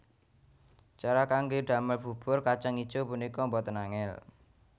Cara kanggé damel bubur kacang ijo punika boten angèl